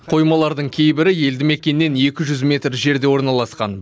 қоймалардың кейбірі елді мекеннен екі жүз метр жерде орналасқан